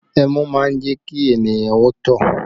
Ẹmu má ń jẹ́ kí ènìyàn ó tọ̀